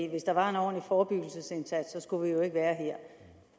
hvis der var en ordentlig forebyggelsesindsats skulle vi jo ikke være